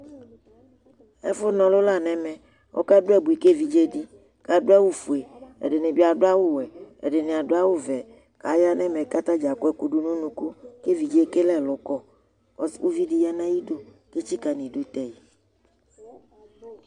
ɛfω 'ɲɔlω lɑɲɛvé ɑkɑɗu ɑbωi kɛviɗzɛɗi kɑɖωɑwω fuɛ ɛɗinibi ɖωɑxωwẽ ɛɗiɲibiɑ dωɑwωvẽ kɑyɑɲɛmé kɑtɑdzɑ ƙωɛkωɗu ɲωɲωku kɛ vidzɛ kɛlɛ ẽlωkɔ ωviɗi yɑɲɑyiɗω kɛtsikɑɲiɗωtɛï